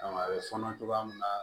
a bɛ fɔɔnɔ togoya min na